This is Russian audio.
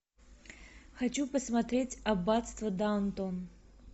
хочу посмотреть аббатство даунтон